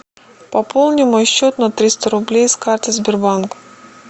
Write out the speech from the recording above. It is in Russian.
пополни мой счет на триста рублей с карты сбербанка